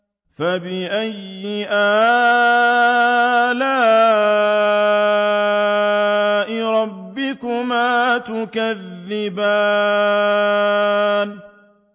فَبِأَيِّ آلَاءِ رَبِّكُمَا تُكَذِّبَانِ